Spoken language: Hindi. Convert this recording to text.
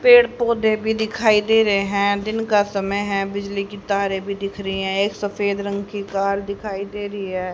पेड़ पौधे भी दिखाई दे रहे हैं दिन का समय है बिजली की तारे भी दिख रही है एक सफेद रंग की कार दिखाई दे रही है।